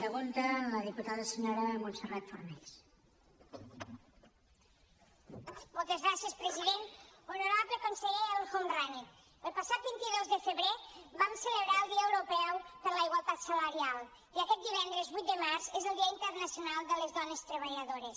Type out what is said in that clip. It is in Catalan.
honorable conseller el homrani el passat vint dos de febrer vam celebrar el dia europeu per la igualtat salarial i aquest divendres vuit de març és el dia internacional de les dones treballadores